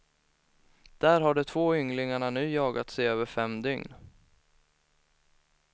Där har de två ynglingarna nu jagats i över fem dygn.